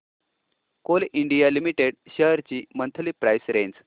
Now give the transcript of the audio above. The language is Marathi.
कोल इंडिया लिमिटेड शेअर्स ची मंथली प्राइस रेंज